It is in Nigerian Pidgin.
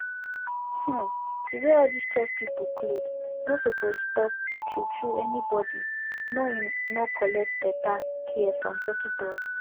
um to wear all these church people cloth nor suppose stop true true any body nor hin nor collect beta care from dockitos